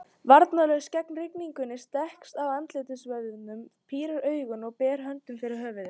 Varnarlaus gegn rigningunni, strekkist á andlitsvöðvunum, pírir augun og ber hönd fyrir höfuð.